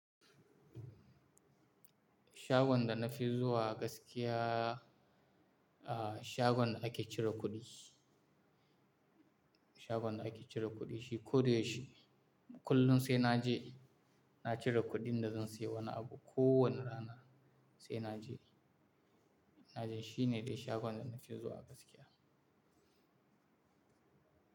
Shagon da na fi zuwa gaskiya, a, shagon da ake cire kuɗi. Shagon da ake cire kuɗi shi koda yaushe, kullum sai na je, na cire kuɗin da zan sayi wani abu. Ko wane rana sai na je. Na je shi ne dai shagon da na ke zuwa gaskiya.